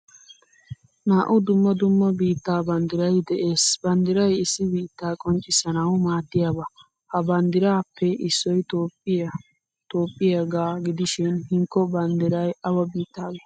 Naa'u dumma dumma biittaa banddiray de'ees. Banddiray issi biitta qonccisanawu maaddiyaaba. Ha banddiraappe issoy toophphiyaa toophphiyaaga gidishin hinkko banddiray awa biittagge?